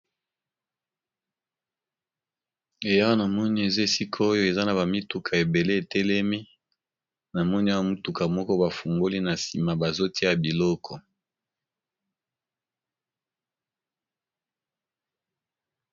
Eh awa namoni eza esika oyo eza na ba mituka ebele etelemi, na moni awa mutuka moko ba fungoli na nsima bazo tia biloko.